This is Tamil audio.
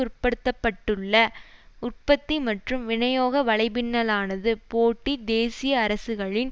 உட்படுத்தப்பட்டுள்ள உற்பத்தி மற்றும் விநியோக வலைப்பின்னலானது போட்டி தேசிய அரசுகளின்